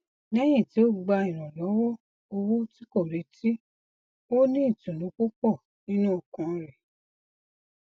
lẹyìn tí ó gba ìrànlọwọ owó ti ko retí ó ní ìtùnú púpọ nínú ọkàn rẹ